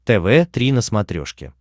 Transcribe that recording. тв три на смотрешке